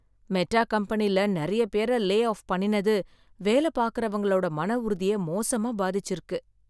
Meta கம்பெனில நிறைய பேரை லே ஆஃப் பண்ணினது, வேலை பார்க்கறவங்களோட மன உறுதிய மோசமா பாதிச்சிருக்கு.